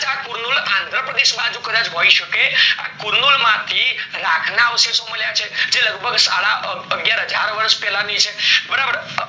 કુલ્નુર અન્ધ્રાપ્રદેશ બાજુ કદાચ હોય શકે આ કુર્નુર માંથી રાખ ના અવશેષો મળ્યા છે એ લગભગ સદા અગ્યાર હાજર વર્ષ પેલાના છે બરાબર